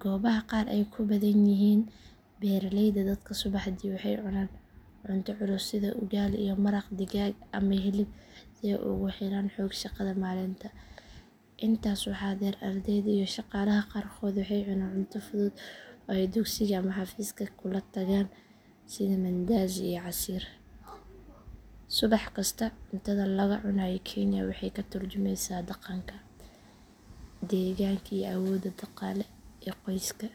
Goobaha qaar oo ay ku badan yihiin beeraleyda dadka subaxdii waxay cunaan cunto culus sida ugali iyo maraq digaag ama hilib si ay ugu helaan xoog shaqada maalinta. Intaas waxaa dheer ardayda iyo shaqaalaha qaarkood waxay cunaan cunto fudud oo ay dugsiga ama xafiiska kula tagaan sida mandazi iyo casiir. Subax kasta cuntada laga cunayo kenya waxay ka tarjumaysaa dhaqanka, deegaanka iyo awoodda dhaqaale ee qoyska.